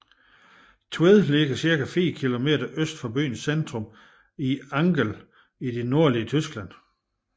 Tved ligger cirka 4 kilometer øst for byens centrum i Angel i det nordlige Tyskland